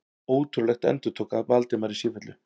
Ótrúlegt endurtók Valdimar í sífellu.